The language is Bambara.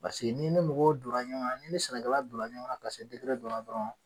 Paseke n'i ni mɔgɔw donna ɲɔgɔn na, n'i ni sɛnɛkɛla donna ɲɔgɔn na ka se dɔ la dɔrɔn